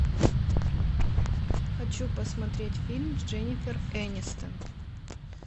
хочу посмотреть фильм с дженифер энистон